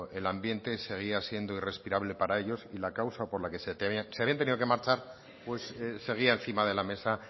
el ambiente seguía siendo irrespirable para ellos y la causa por la que se habían tenido que marchar pues seguía encima de la mesa